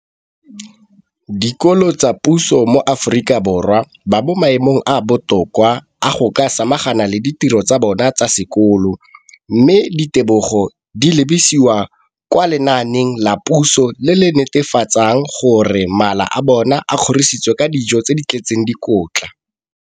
Dikolo tsa puso mo Aforika Borwa ba mo maemong a a botoka a go ka samagana le ditiro tsa bona tsa sekolo, mme ditebogo di lebisiwa kwa lenaaneng la puso le le netefatsang gore mala a bona a kgorisitswe ka dijo tse di tletseng dikotla.